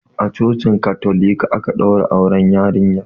A cocin katolika aka ɗaura auren yarinyar.